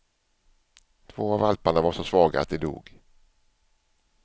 Två av valparna var så svaga att de dog.